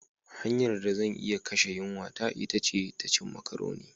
Hanyar da zan iya kashe yunwata ita ce ta cin macaroni.